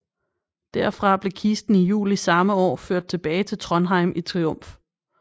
Derfra blev kisten i juli samme år ført tilbage til Trondheim i triumf